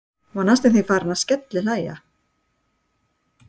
Hún var næstum því farin að skellihlæja.